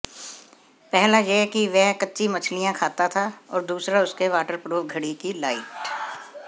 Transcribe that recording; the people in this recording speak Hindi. पहला यह कि वह कच्ची मछलियां खाता था और दूसरा उसके वाटरप्रूफ घड़ी की लाइट